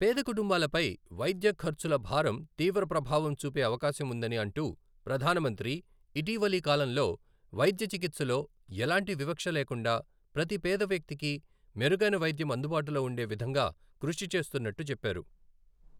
పేద కుటుంబాలపై వైద్యఖర్చుల భారం తీవ్రప్రభావం చూపే అవకాశం ఉందని అంటూప్రధానమంత్రి, ఇటీవలి కాలంలో వైద్యచికిత్సలో ఎలాంటి వివక్ష లేకుండా ప్రతి పేద వ్యక్తికి మెరుగైన వైద్యం అందుబాటులో ఉండే విధంగా కృషి చేస్తున్నట్టు చెప్పారు.